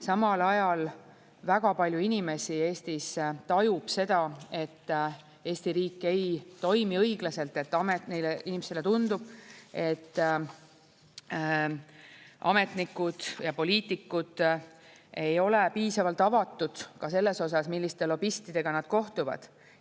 Samal ajal väga palju inimesi Eestis tajub seda, et Eesti riik ei toimi õiglaselt, neile inimestele tundub, et ametnikud ja poliitikud ei ole piisavalt avatud ka selles osas, milliste lobistidega nad kohtuvad.